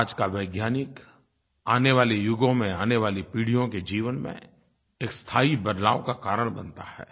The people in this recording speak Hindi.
आज का वैज्ञानिक आने वाले युगों में आने वाली पीढ़ियों के जीवन में एक स्थायी बदलाव का कारण बनता है